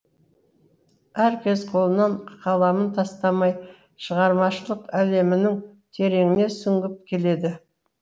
әркез қолынан қаламын тастамай шығармашылық әлемінің тереңіне сүңгіп келеді